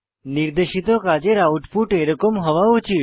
নির্দেশিত কাজের আউটপুট এরকম হওয়া উচিত